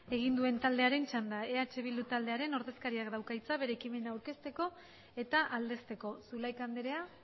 aldezteko zulaika anderea zurea da hitza presidente andrea